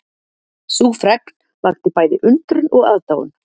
Sú fregn vakti bæði undrun og aðdáun